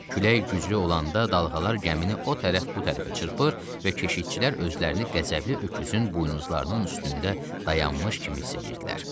Külək güclü olanda dalğalar gəmini o tərəf bu tərəfə çırpır və keşiyçilər özlərini qəzəbli öküzün buynuzlarının üstündə dayanmış kimi hiss eləyirdilər.